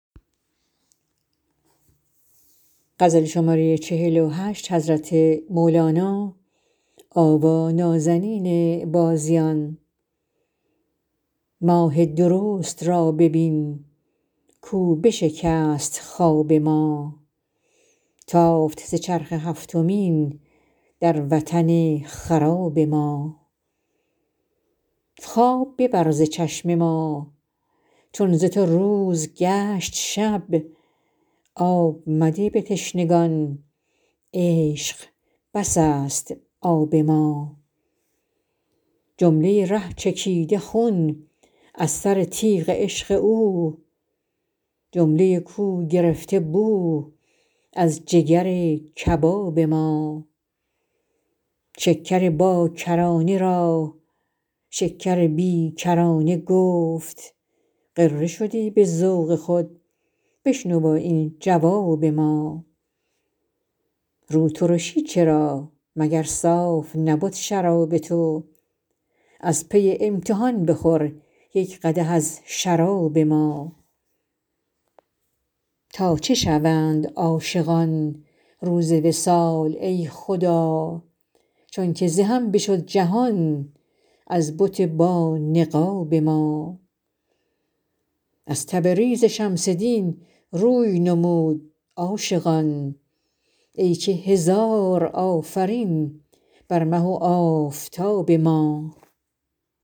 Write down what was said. ماه درست را ببین کاو بشکست خواب ما تافت ز چرخ هفتمین در وطن خراب ما خواب ببر ز چشم ما چون ز تو روز گشت شب آب مده به تشنگان عشق بس است آب ما جمله ی ره چکیده خون از سر تیغ عشق او جمله ی کو گرفته بو از جگر کباب ما شکر باکرانه را شکر بی کرانه گفت غره شدی به ذوق خود بشنو این جواب ما روترشی چرا مگر صاف نبد شراب تو از پی امتحان بخور یک قدح از شراب ما تا چه شوند عاشقان روز وصال ای خدا چونک ز هم بشد جهان از بت بانقاب ما از تبریز شمس دین روی نمود عاشقان ای که هزار آفرین بر مه و آفتاب ما